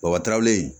Wabataraw in